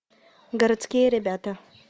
городские ребята